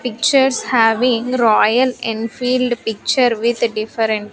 Pictures having Royal Enfield picture with different --